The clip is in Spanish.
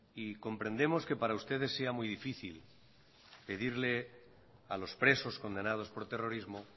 y comprendemos que para ustedes sea muy difícil pedirle a los presos condenados por terrorismo